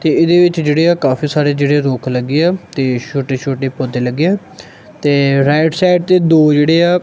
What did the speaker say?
ਤੇ ਏਹਦੇ ਵਿੱਚ ਜੇਹੜੇ ਆ ਕਾਫੀ ਸਾਰੇ ਜੇਹੜੇ ਰੁੱਖ ਲੱਗੇ ਆ ਤੇ ਛੋਟੇ ਛੋਟੇ ਪੌਧੇ ਲੱਗੇ ਆ ਤੇ ਰਾਇਟ ਸਾਈਡ ਤੇ ਦੋ ਜੇਹੜੇ ਆ--